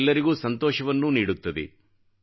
ಮತ್ತು ಎಲ್ಲರಿಗು ಸಂತೋಷವನ್ನೂ ನೀಡುತ್ತದೆ